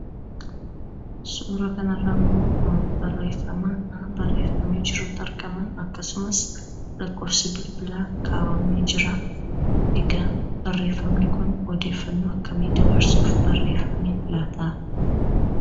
Suuraa kana irraa ammoo barreeffama barreeffamee jirutu argama. Akkasumas, lakkoofsi bilbilaa ka'amee jira. Egaa barreeffamni kun odeeffannoo akkamii dabarsuuf barreeffame laata?